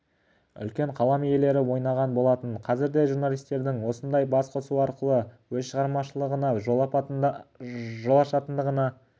үлкен қалам иелері ойнаған болатын қазір де журналистердің осындай басқосу арқылы өз шығармашылығына жол ашатындығына